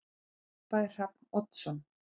Þá hrópaði Hrafn Oddsson